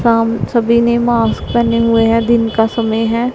साम सभी ने मास्क पहने हुए हैं दिन का समय है।